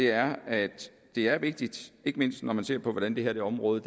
er at det er vigtigt ikke mindst når man ser på hvordan det her område